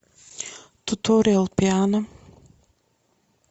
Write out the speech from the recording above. туториал пиано